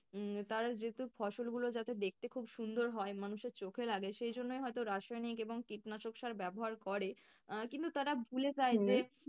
উম তারা যেহেতু ফসল গুলো যাতে দেখতে খুব সুন্দর হয় মানুষের চোখে লাগে সেই জন্যই হয়তো রাসায়নিক এবং কীটনাশক সার ব্যাবহার করে। আহ কিন্তু তারা ভুলে